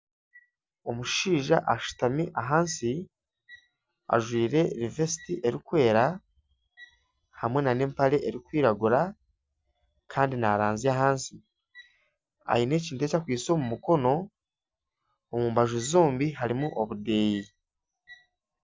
Omushaija ashutami ahansi ajwaire vesiti erikwera hamwe nana empare erikwiragura kandi naaranzya ahansi. Aine ekintu eki akwaitse omu mukono. Omu mbaju zombi harimu obudeeya.